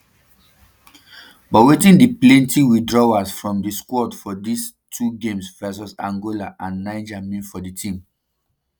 but wetin di plenty withdrawals from di squad for dis um two games vs angola and niger mean for di team